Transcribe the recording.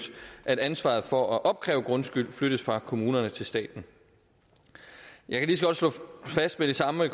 at ansvaret for at opkræve grundskyld flyttes fra kommunerne til staten jeg kan lige så godt slå fast med det samme og